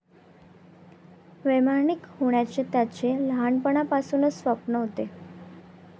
वैमानिक होण्याचे त्याचे लहानपणापासून स्वप्न होते.